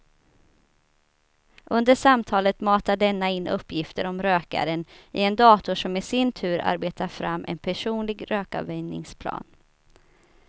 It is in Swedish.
Under samtalet matar denna in uppgifter om rökaren i en dator som i sin tur arbetar fram en personlig rökavvänjningsplan.